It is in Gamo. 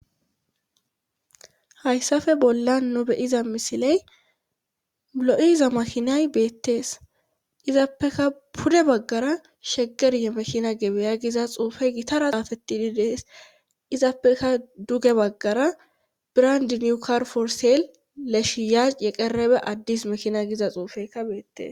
hayssape bollan nu be7iza misiley lo7iza maakinay beetes izapeka pude baggara sheger yemekina gebeya giza xuufey gitara xaafettidi de7ees;izappeka duge baggara brand niw kar for sel leshiyac yeqerebe addis mekina giza xuufeykka beettes.